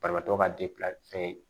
Banabaatɔ ka fɛn ye